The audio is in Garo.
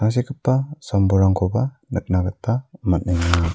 tangsekgipa sam-bolrangkoba nikna gita man·enga.